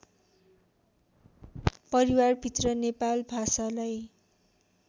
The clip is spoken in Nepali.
परिवारभित्र नेपाल भाषालाई